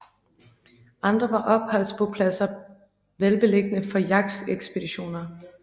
Andre var opholdsbopladser velbeliggende for jagtekspeditioner